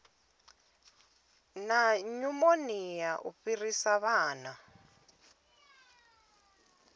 na nyumonia u fhirisa vhana